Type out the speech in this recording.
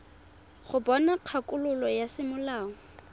go bona kgakololo ya semolao